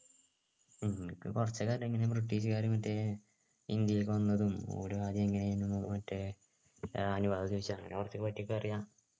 ഉം എനിക്ക് കുറച്ചൊക്കെ അറിയ ഇങ്ങനെ british കാര് മറ്റേ ഇന്ത്യയിലേക്ക് വന്നതും ഓരോ കാര്യം എങ്ങനെ ആയിരുന്നു മറ്റേ ഏർ അനുവാദം ചോദിച്ച അതിനെപ്പറ്റി കുറച്ചൊക്കെ അറിയാ